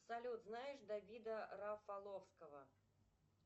салют знаешь давида рафаловского